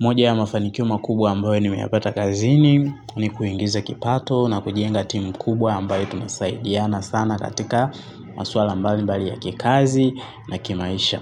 Moja ya mafanikio makubwa ambayo nimeyapata kazini ni kuingiza kipato na kujenga timu kubwa ambayo tunasaidiana sana katika maswala mbali mbali ya kikazi na kimaisha.